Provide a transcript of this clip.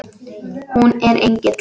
Hún er engill.